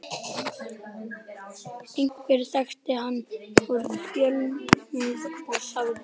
Einhver þekkti hann úr fjölmiðlum og sagði